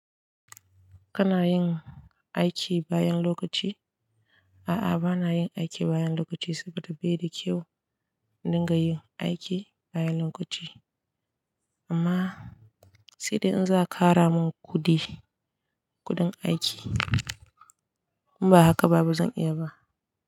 Kana yin aiki bayan lokaci? A'a, ba na yin aiki bayan lokaci saboda bai da kyau in dinga yin aiki bayan lokaci. Amma sai dai in za, a ƙara min kuɗi, kuɗin aiki. In ba haka ba, ba zan iya yi ba.